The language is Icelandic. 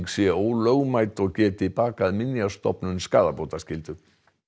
sé ólögmæt og geti bakað Minjastofnun skaðabótaskyldu